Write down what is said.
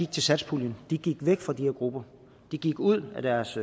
til satspuljen de gik væk fra de her grupper de gik ud af deres